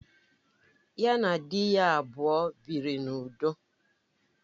Ya na di ya abụọ biri n'udo